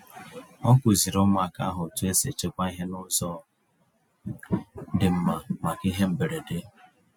Ọ kụziri ụmụaka ahụ otu esi echekwa ihe n'ụzọ dị mma maka ihe mberede.